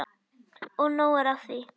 Og nóg er af því.